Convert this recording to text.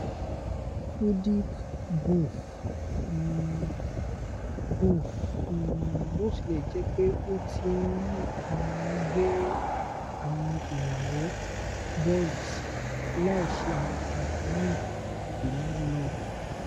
fudic bnf um bnf um botilẹjẹpe o ti um n gbẹ́ awọn ilàwọ́ (boils) láìṣe àwáda naa ko ni lọ um